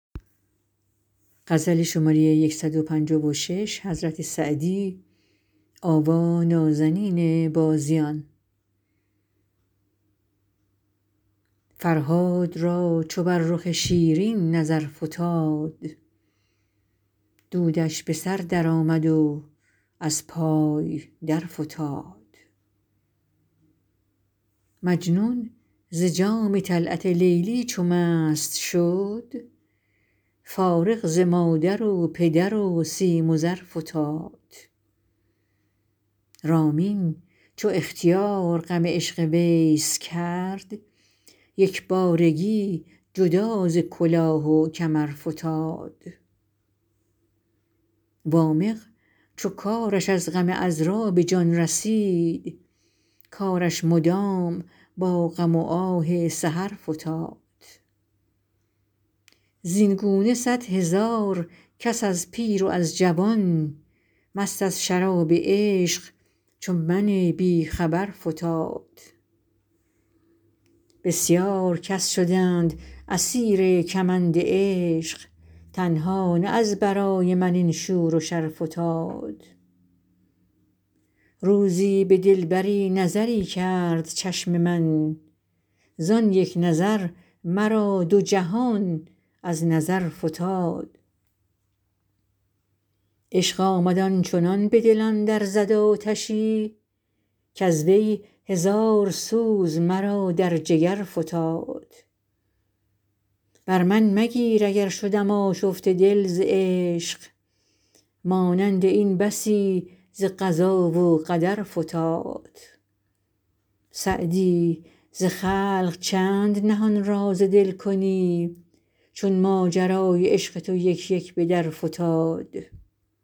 فرهاد را چو بر رخ شیرین نظر فتاد دودش به سر درآمد و از پای درفتاد مجنون ز جام طلعت لیلی چو مست شد فارغ ز مادر و پدر و سیم و زر فتاد رامین چو اختیار غم عشق ویس کرد یک بارگی جدا ز کلاه و کمر فتاد وامق چو کارش از غم عـذرا به جان رسید کارش مدام با غم و آه سحر فتاد زین گونه صدهزار کس از پیر و از جوان مست از شراب عشق چو من بی خبر فتاد بسیار کس شدند اسیر کمند عشق تنها نه از برای من این شور و شر فتاد روزی به دلبری نظری کرد چشم من زان یک نظر مرا دو جهان از نظر فتاد عشق آمد آن چنان به دلم در زد آتشی کز وی هزار سوز مرا در جگر فتاد بر من مگیر اگر شدم آشفته دل ز عشق مانند این بسی ز قضا و قدر فتاد سعدی ز خلق چند نهان راز دل کنی چون ماجرای عشق تو یک یک به در فتاد